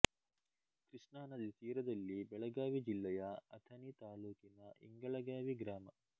ಕೃಷ್ಣಾನದಿ ತೀರದಲ್ಲಿ ಬೆಳಗಾವಿ ಜಿಲ್ಲೆಯ ಅಥಣಿ ತಾಲ್ಲೂಕಿನ ಇಂಗಳಗಾವಿ ಗ್ರಾಮ